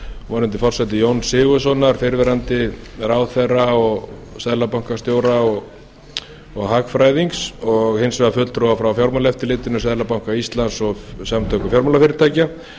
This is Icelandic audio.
og var undir forsæti jóns sigurðssonar fyrrverandi ráðherra og seðlabankastjóra og hagfræðings og hins vegar fulltrúa frá fjármálaeftirlitinu seðlabanka íslands og samtökum fjármálafyrirtækja